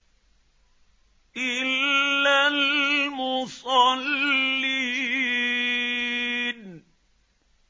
إِلَّا الْمُصَلِّينَ